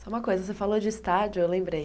Só uma coisa, você falou de estádio, aí eu lembrei.